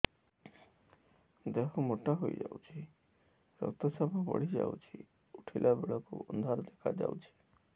ଦେହ ମୋଟା ହେଇଯାଉଛି ରକ୍ତ ଚାପ ବଢ଼ି ଯାଉଛି ଉଠିଲା ବେଳକୁ ଅନ୍ଧାର ଦେଖା ଯାଉଛି